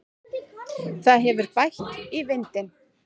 Það hefur bætt í vindinn.